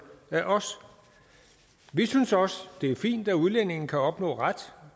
af os vi synes også det er fint at udlændinge kan opnå ret